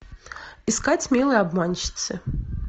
искать милые обманщицы